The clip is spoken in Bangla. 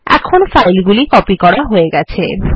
এখন ফাইলগুলি কপি করা হয়ে গেছে